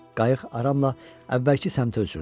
Qayıq aramla əvvəlki səmtə üzürdü.